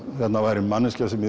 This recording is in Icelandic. væri manneskja sem